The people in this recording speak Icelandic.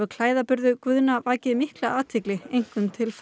vakið mikla athygli einkum til fóta og höfuðs